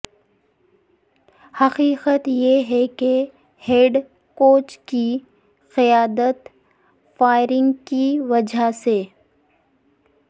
حقیقت یہ ہے کہ ہیڈ کوچ کی قیادت فائرنگ کی وجہ سے